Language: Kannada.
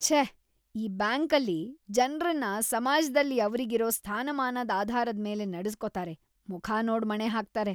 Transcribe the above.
ಛೇ! ಈ ಬ್ಯಾಂಕಲ್ಲಿ ಜನ್ರನ್ನ ಸಮಾಜ್ದಲ್ಲಿ ಅವ್ರಿಗಿರೋ ಸ್ಥಾನಮಾನದ್ ಆಧಾರದ್ಮೇಲೆ ನಡೆಸ್ಕೊತಾರೆ, ಮುಖ ನೋಡ್‌ ಮಣೆ ಹಾಕ್ತಾರೆ.